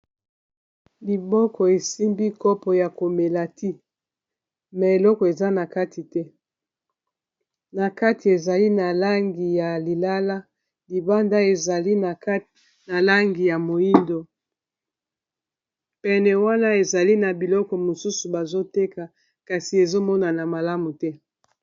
liboko esimbi kopo ya komelati me eloko eza na kati te na kati ezali na langi ya lilala libanda ezali na langi ya moindo pene wana ezali na biloko mosusu bazoteka kasi ezomonana malamu te